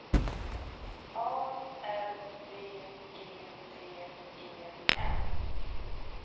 A R B E T E N